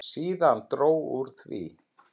Síðan dró úr því.